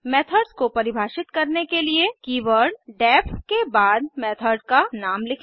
methods को परिभाषित करने के लिए कीवर्ड डेफ के बाद मेथड का नाम लिखें